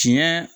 Tiɲɛ